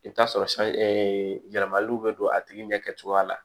I bɛ t'a sɔrɔ yɛlɛmaliw bɛ don a tigi ɲɛ kɛcogoya la